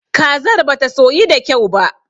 Kazar bata soyu da kyau ba.